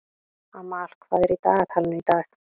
Amal, hvað er í dagatalinu í dag?